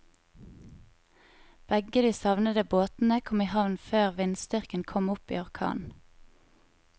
Begge de savnede båtene kom i havn før vindstyrken kom opp i orkan.